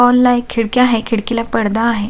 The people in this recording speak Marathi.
हॉलला एक खिडकी आहे खिडकीला एक पडदा आहे.